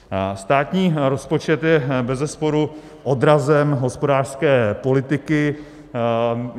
Státní rozpočet je bezesporu odrazem hospodářské politiky.